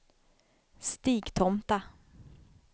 Stigtomta